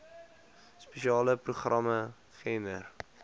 spesiale programme gender